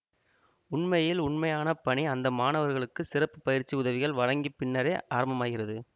உண்மையில் உண்மையான பணி அந்த மாணவர்களுக்கு சிறப்பு பயிற்சி உதவிகள் வழங்கி பின்னரே ஆரம்பமாகிறது